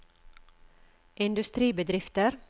industribedrifter